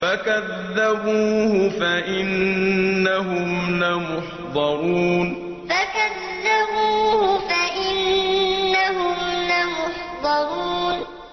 فَكَذَّبُوهُ فَإِنَّهُمْ لَمُحْضَرُونَ فَكَذَّبُوهُ فَإِنَّهُمْ لَمُحْضَرُونَ